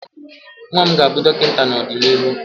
nwa m ga-abụ dọkịta n'ọdịnihu